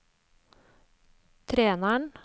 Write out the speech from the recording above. treneren